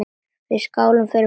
Við skálum við fólkið.